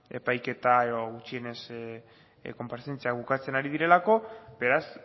epaiketa edo gutxienez konparezentziak bukatzen ari direlako beraz